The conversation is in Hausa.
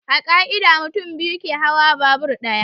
A ƙa'ida, mutum biyu ke hawa babur ɗaya.